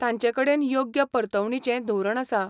तांचेकडेन योग्य परतवणीचें धोरण आसा?